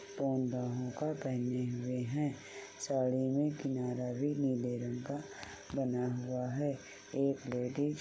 बाहों का पेहने हुए है। साड़ी में किनारा भी नीले रंग का बना हुआ है। एक लेडीज --